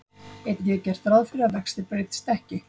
Einnig er gert ráð fyrir að vextir breytist ekki.